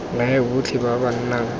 naya botlhe ba ba nang